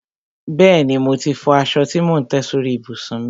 Bẹ́ẹ̀ni, mo ti fọ aṣọ tí mò ń tẹ́ sórí ìbùsùn mi.